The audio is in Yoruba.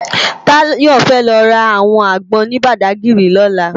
Tayo fè lò rá áwòn ágbòn ni Bàdágiri lòlá